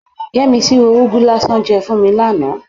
Yẹ́misí ro úgú lásán jẹ fún mi lánàá.